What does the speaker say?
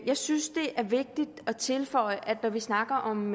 jeg synes det er vigtigt at tilføje når vi snakker om